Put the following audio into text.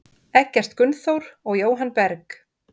Eggert Gunnþór og Jóhann Berg.